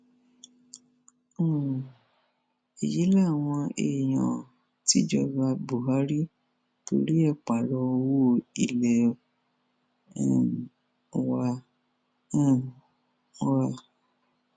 um èyí làwọn èèyàn tìjọba buhari torí ẹ pààrọ owó ilé um wa um wa